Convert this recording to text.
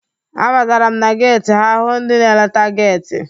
A batara m na geti ha hụ ndị na-eleta geti.